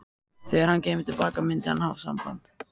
Þegar hann kæmi til baka myndi hann hafa samband.